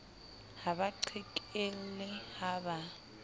ha ba qhekelle ha ba